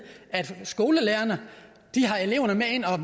at skolelærerne tager eleverne med ind og